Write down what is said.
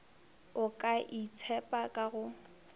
o ka itshepa ka go